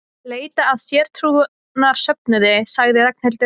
Leita að sértrúarsöfnuði sagði Ragnhildur.